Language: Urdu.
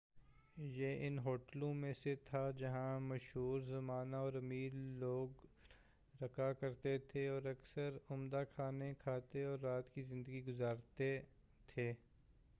یہ ان ہوٹلوں میں سے تھے جہاں مشھور زمانہ اور امیر لوگ رکا کرتے تھے اور اکثر عمدہ کھانے کھاتے اور رات کی زندگی گذارتے تھے